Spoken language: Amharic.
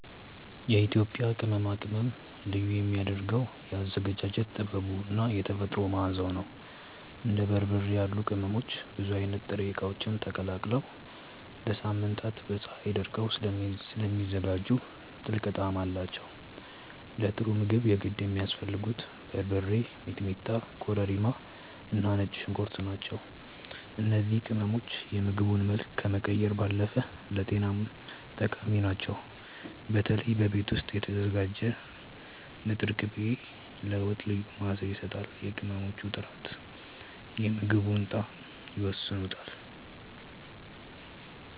የኢትዮጵያ ቅመማ ቅመም ልዩ የሚያደርገው የአዘገጃጀት ጥበቡ እና የተፈጥሮ መዓዛው ነው። እንደ በርበሬ ያሉ ቅመሞች ብዙ አይነት ጥሬ እቃዎች ተቀላቅለው ለሳምንታት በፀሀይ ደርቀው ስለሚዘጋጁ ጥልቅ ጣዕም አላቸው። ለጥሩ ምግብ የግድ የሚያስፈልጉት በርበሬ፣ ሚጥሚጣ፣ ኮረሪማ እና ነጭ ሽንኩርት ናቸው። እነዚህ ቅመሞች የምግቡን መልክ ከመቀየር ባለፈ ለጤናም ጠቃሚ ናቸው። በተለይ በቤት ውስጥ የተዘጋጀ ንጥር ቅቤ ለወጥ ልዩ መዓዛ ይሰጣል። የቅመሞቹ ጥራት የምግቡን ጣዕም ይወስነዋል።